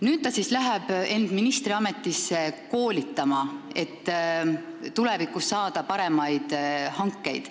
Nüüd ta siis läheb ministriametisse end koolitama, et tulevikus saada paremaid töid.